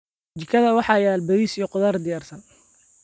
jikada waxaa yaal bariis iyo khudaar diyaarsan.